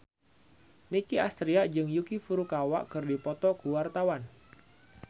Nicky Astria jeung Yuki Furukawa keur dipoto ku wartawan